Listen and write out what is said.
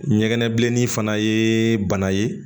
Ɲɛgɛnɛbilennin fana ye bana ye